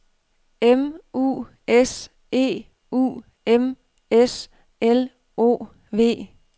M U S E U M S L O V